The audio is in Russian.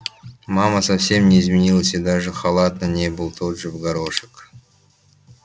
мама совсем не изменилась и даже халат на ней был тот же в горошек